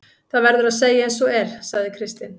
Það verður að segja eins og er, sagði Kristinn.